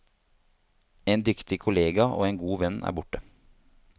En dyktig kollega og en god venn er borte.